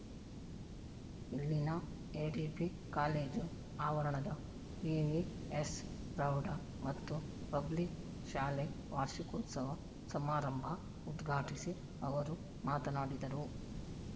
ಇಲ್ಲಿನ ADB college ಆವರಣದ VVS ಪ್ರೌಢ ಮತ್ತು ಪಬ್ಲಿಕ್‌ ಶಾಲೆ ವಾರ್ಷಿಕೋತ್ಸವ ಸಮಾರಂಭ ಉದ್ಘಾಟಿಸಿ ಅವರು ಮಾತನಾಡಿದರು